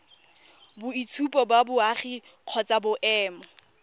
boitshupo ba boagi kgotsa boemo